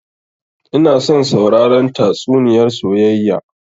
Ina son sauraren tatsuniyar soyayya